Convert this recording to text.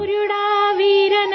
ರೇನಾಡೂ ಪ್ರಾಂತ್ ಕೇ ಸೂರಜ್